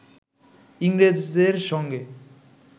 ইংরেজের সঙ্গে